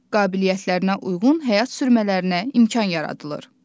Qabiliyyətlərinə uyğun həyat sürmələrinə imkan yaradılır.